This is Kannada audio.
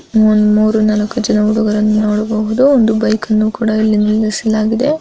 ಒಂದು ಮೂರು ನಾಲ್ಕು ಜನ ಹುಡುಗರನ್ನು ನೋಡಬಹುದು ಒಂದು ಬೈಕ ನ್ನು ಕೂಡ ಇಲ್ಲಿ ನಿಲ್ಲಿಸಲಾಗಿದೆ .